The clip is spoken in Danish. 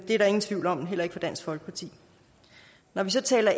der ingen tvivl om heller ikke for dansk folkeparti når vi så taler